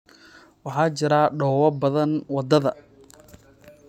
waxaa jiraah dhoobo badan wadada